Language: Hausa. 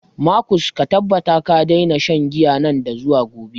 Markus, ka tabbata ka daina shan giya nan da zuwa gobe.